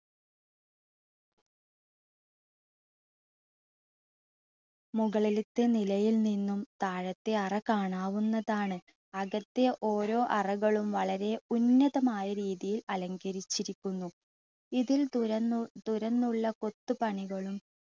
മുകളിലത്തെ നിലയിൽ നിന്നും താഴത്തെ അറ കാണാവുന്നതാണ്. അകത്തെ ഓരോ അറകളും വളരെ ഉന്നതമായ രീതിയിൽ അലങ്കരിച്ചിരിക്കുന്നു. ഇതിൽ തുറന്നുള്ള കൊത്തുപണികളും